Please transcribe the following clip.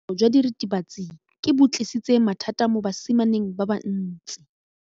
Botshelo jwa diritibatsi ke bo tlisitse mathata mo basimaneng ba bantsi.